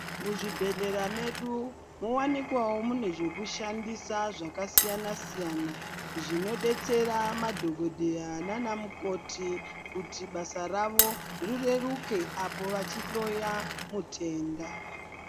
Muzvibhehlera medu muwanikwewo mune zvinoshandisa zvakasiyana siyana zvino detsera madhokodheya nana mukoti kuti kuti basa ravo rireruke apo vachihloya mutenda.